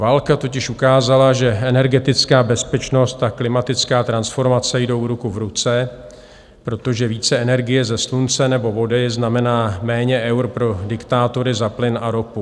Válka totiž ukázala, že energetická bezpečnost a klimatická transformace jdou ruku v ruce, protože více energie ze slunce nebo vody znamená méně eur pro diktátory za plyn a ropu.